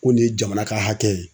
Ko nin ye jamana ka hakɛ ye